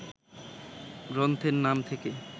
গ্রন্থের নাম থেকে